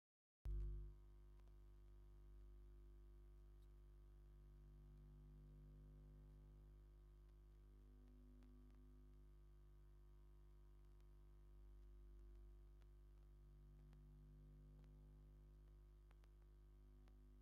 ኣብ ትግራይ ካብ ዝርከባ ሚዳታት ሓንቲ ዝኮነት ድምፂ ወያኔ ትግራይ ብዛዕባ ናይ ትግራይ ኢኮኖሚ ንምዕባይ እንዳሰራሕና ንርከብ እንዳበሉ ዝገለፅዎ ግዝያዊ ፕሬዝደንት ዝነበሩ ኣይተ ጌታቸው ረዳ ምኳኖም ትፈልጡ ዶ?